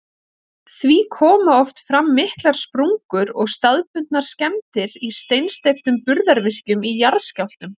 Því koma oft fram miklar sprungur og staðbundnar skemmdir í steinsteyptum burðarvirkjum í jarðskjálftum.